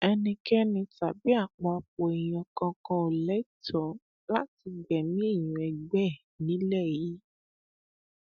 ẹnikẹni tàbí àpapọ èèyàn kankan ò lẹtọọ láti gbẹmí èèyàn ẹgbẹ ẹ nílẹ yìí